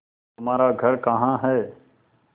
तुम्हारा घर कहाँ है